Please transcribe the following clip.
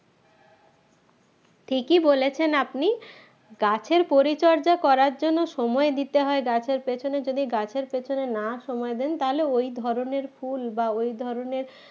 ঠিকই বলেছেন আপনি গাছের পরিচর্যা করার জন্য সময় দিতে হয় গাছের পেছনে যদি গাছের পেছনে না সময় দেন তাহলে ওই ধরনের ফুল বা ওই ধরনের